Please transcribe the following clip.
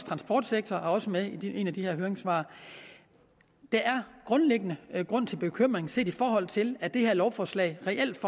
transportsektor er også med i et af de her høringssvar der er grundlæggende grund til bekymring set i forhold til at det her lovforslag reelt